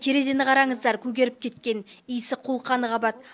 терезені қараңыздар көгеріп кеткен иісі қолқаны қабады